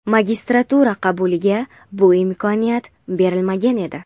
Magistratura qabuliga bu imkoniyat berilmagan edi.